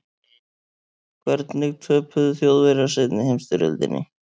hvernig töpuðu þjóðverjar seinni heimsstyrjöldinni